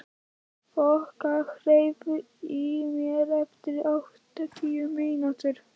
Þoka, heyrðu í mér eftir átján mínútur.